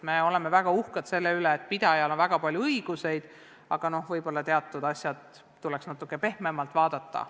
Me oleme väga uhked, et koolipidajal on palju õigusi, aga võib-olla tuleks teatud asju natuke pehmemalt vaadata.